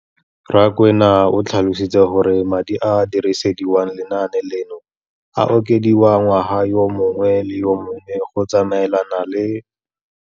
Rakwena o tlhalositse gore madi a a dirisediwang lenaane leno a okediwa ngwaga yo mongwe le yo mongwe go tsamaelana le.